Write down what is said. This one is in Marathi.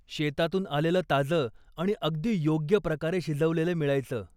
शेतातून आलेलं ताज आणि अगदी योग्य प्रकारे शिजवलेलं मिळायचं.